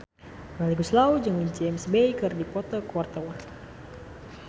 Melly Goeslaw jeung James Bay keur dipoto ku wartawan